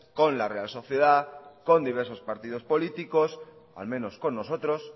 con la real sociedad con diversos partidos políticos al menos con nosotros